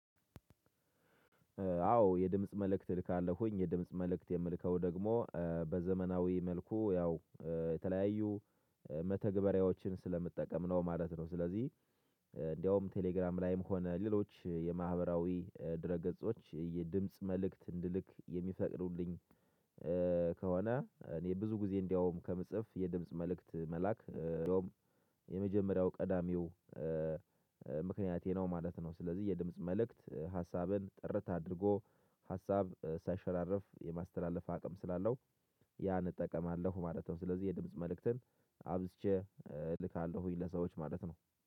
አዎ የድምጽ መልእክት እልካለሁኝ የድምጽ መልእክት የምልከው ደግሞ በዘመናዊ መልኩ ያው የተለያዩ መተግበሪያዎችን ስለምጠቀም ነው ማለት ነው። ስለዚህ እንደውም ቴሌግራም ላይም ሆነ ሌሎች የማህበራዊ ድረ ገጾች የድምጽ መልእክት እንድልክ የሚፈቅዱልኝ። ከሆነ እኔ ብዙ ጊዜ እንደውም ከምጽፍ የድምጽ መልእክት መላክ እንደውም የመጀመሪያው ቀዳሚው ምክንያቴ ነው ማለት ነው። ስለዚህ የድምጽ መልእክት ሀሳብን ጥርት አድርጎ ሀሳብ ሳይሸራረፍ የማስተላለፍ አቅም ስላለው ያን እጠቀማለሁ ማለት ነው። ስለዚህ የድምጽ መልእክትን አብዝቼ እልካለሁኝ ለሰዎች ማለት ነው።